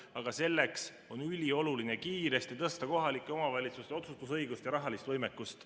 Aga selleks on ülioluline kiiresti tõsta kohalike omavalitsuste otsustusõigust ja rahalist võimekust.